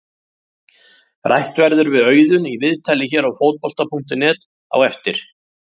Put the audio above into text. Rætt verður við Auðun í viðtali hér á Fótbolta.net á eftir.